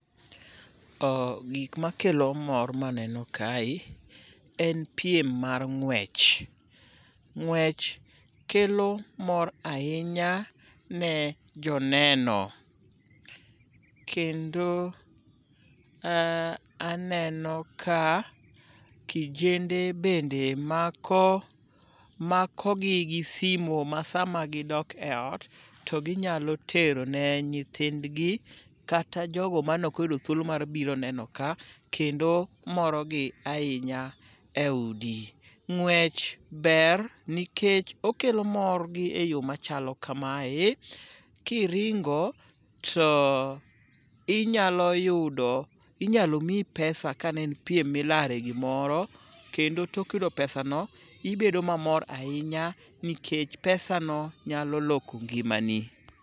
Oh gik makelo mor maneno kae en piem mar ng'wech. Ng'wech kelo mor ahinya ne joneno, kendo aneno ka kijende bende makogi gi simo ma sama gidok e ot to ginyalo tero ne nyithindgi kata jogo manokoyudo thuolo mar biro neno ka kendo morogi ahinya e udi. Ng'wech ber nikech okelo mor gi e yo machalo kamae; kiringo to inyalo miyi [pesa ka ne en piem milare gimoro, kendo tok yudo pesano ibedo mamor ahinya nikech pesano nyalo loko ngimani.